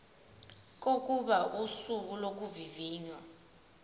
kokuba usuku lokuvivinywa